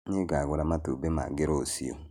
Nĩngagũra matumbĩ mangĩ rũciũ